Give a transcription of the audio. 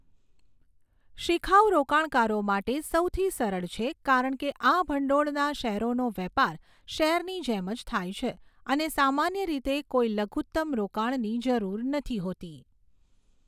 શીખાઉ રોકાણકારો માટે સૌથી સરળ છે કારણ કે આ ભંડોળના શેરોનો વેપાર શેરની જેમ જ થાય છે અને સામાન્ય રીતે કોઈ લઘુત્તમ રોકાણની જરૂર નથી હોતી.